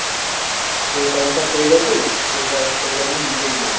ପଇସା ପତ୍ର pay କରିଦେଲୁ ପଇସା pay କରିକି ନିଜେ ହିଁ ନେଇଗଲୁ